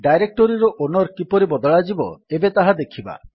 ଡାଇରେକ୍ଟୋରୀର owner କିପରି ବଦଳାଯିବ ଏବେ ତାହା ଦେଖିବା